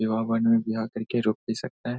यहाँ आकर के रुक भी सकता है।